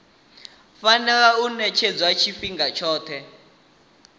fanela u ṅetshedzwa tshifhinga tshoṱhe